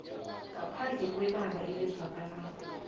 ngaphandle kwebanga elizwakalako